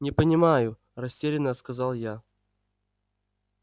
не понимаю растерянно сказал я